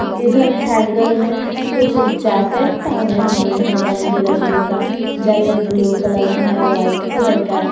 इधर हैंगर में कुछ जैकेट टांगे हुए हैं रंग बिरंगे का जैकेट ब्लू कलर का है व्हाइट कलर का --